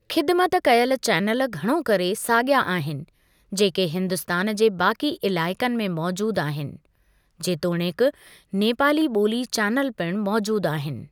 ख़िदमत कयल चैनल घणो करे साॻिया आहिनि जेके हिन्दुस्तान जे बाक़ी इलाइक़नि में मौज़ूदु आहिनि, जेतोणीकि नेपाली ॿोली चैनल पिणु मौज़ूदु आहिनि।